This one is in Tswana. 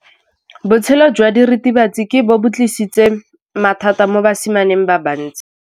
Botshelo jwa diritibatsi ke bo tlisitse mathata mo basimaneng ba bantsi.